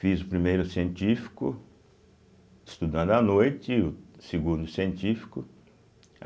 Fiz o primeiro científico, estudando à noite, e o segundo científico.